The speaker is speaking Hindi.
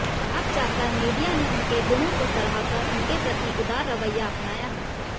अब जाकर मीिडया ने उनके गुणों को सराहकर उनके प्रति उदार रवैया अपनाया है